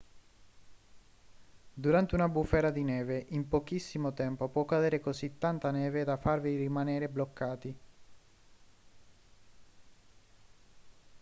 durante una bufera di neve in pochissimo tempo può cadere così tanta neve da farvi rimanere bloccati